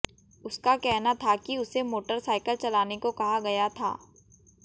उसका कहना था कि उसे मोटरसाइकिल चलाने को कहा गया था